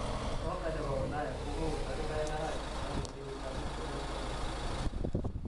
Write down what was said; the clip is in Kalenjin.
Soka ne bo Ulaya komuut 02.02.2018